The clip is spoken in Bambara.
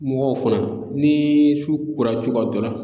Mɔgɔw fana ni su kora cogoya dɔ la.